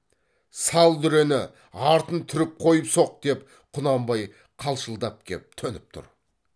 сал дүрені артын түріп қойып соқ деп құнанбай қалшылдап кеп төніп тұр